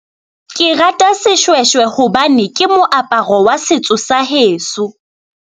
Ke rata seshweshwe hobane ke moaparo wa setso sa heso.